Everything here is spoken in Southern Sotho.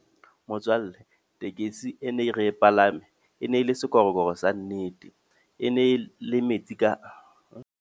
Motswalle, tekesi e ne re e palame. E ne e le sekorokoro sa nnete. E ne le metsi ka .